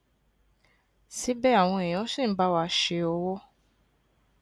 síbè àwọn èèyàn ṣì ń bá wa ṣe òwò